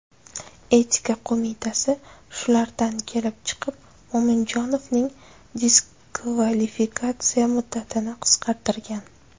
Etika qo‘mitasi shulardan kelib chiqib Mo‘minjonovning diskvalifikatsiya muddatini qisqartirgan.